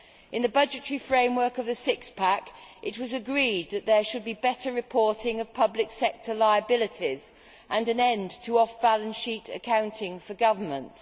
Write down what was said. In the budgetary framework of the Six Pack, it was agreed that there should be better reporting of public sector liabilities and an end to off balance sheet accounting for governments.